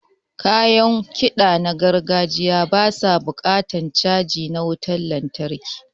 Kayan kiɗa na gargajiya ba su buƙatan caji na wutan lantarki.